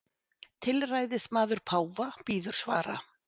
Tilræðismaður páfa bíður svara